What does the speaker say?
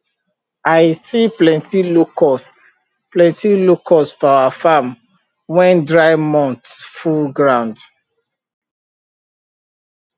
i see plenty locust plenty locust for our farm when dry months full ground